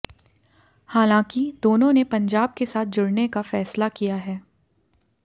हालांकि दोनों ने पंजाब के साथ जुड़ने का फैसला किया है